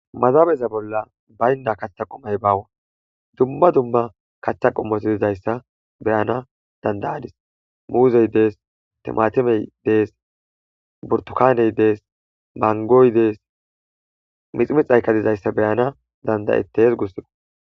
Mazabeza bolla baynda kaththa qomay baawa dumma dumma kaththa qommoto dizayssa beyana dandayadis muuzey dees timatimey dees burtukaaney dees mangoy dees miximi xayka dizayssa beyana dandayettes gussqo.